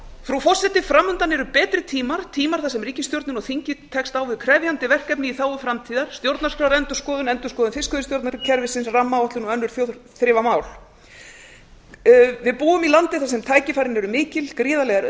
frú forseti framundan eru betri tímar tímar þar sem ríkisstjórnin og þingið tekst á við krefjandi verkefni í þágu framtíðar stjórnarskrárendurskoðun endurskoðun fiskveiðistjórnarkerfisins rammaáætlun og önnur þjóðþrifamál við búum í landi þar sem tækifærin eru mikil gríðarlegar